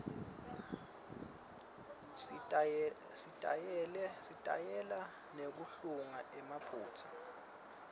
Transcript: sitayela nekuhlunga emaphutsa